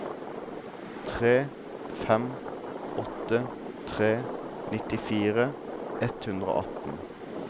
tre fem åtte tre nittifire ett hundre og atten